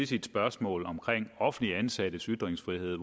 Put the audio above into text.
sit spørgsmål om offentligt ansattes ytringsfrihed